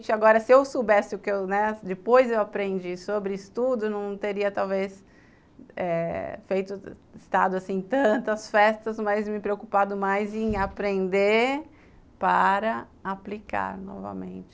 Agora, se eu soubesse o que eu, né, depois eu aprendi sobre estudo, não teria talvez eh feito estado assim tantas festas, mas me preocupado mais em aprender para aplicar novamente.